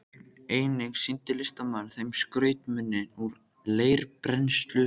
Einnig sýndi listamaðurinn þeim skrautmuni úr leirbrennslu sinni.